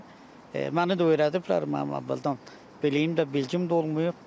Məni də öyrədiblər, mənim bildiyim də, bilgim də olmayıb.